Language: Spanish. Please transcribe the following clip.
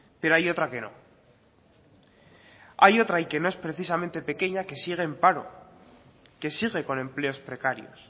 pero hay otra que no hay otra y que no es precisamente pequeña que sigue en paro que sigue con empleos precarios